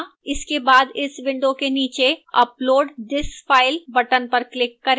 इसके बाद इस window में नीचे upload this file button पर click करें